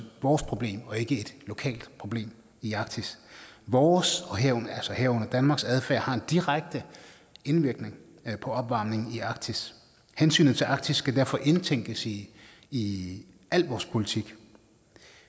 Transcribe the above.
vores problem og ikke et lokalt problem i arktis vores herunder danmarks adfærd har en direkte indvirkning på opvarmningen i arktis hensynet til arktis skal derfor indtænkes i i al vores politik